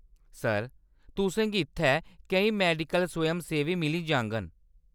Sir, तु'सें गी इत्थै केईं मैडिकल स्वयंसेवी मिली जाङन।